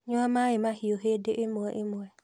Nyua maĩi mahiũ hĩndĩ ĩmwe ĩmwe